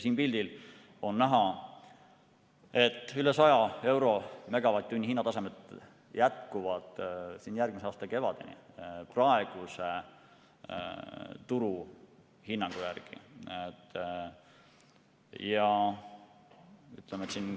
Siit pildilt on näha, et hinnatasemed üle 100 euro megavatt-tunni eest jätkuvad järgmise aasta kevadeni praeguse turuhinnangu järgi.